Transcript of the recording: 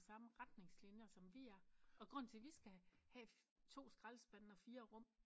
Og de samme retningslinjer og grunden til vi skal have to skraldespande og fire rum